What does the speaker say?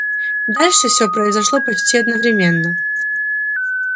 дальше все произошло почти одновременно